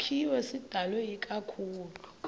sakhiwo sidalwe ikakhulu